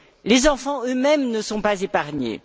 les enfants eux mêmes ne sont pas épargnés.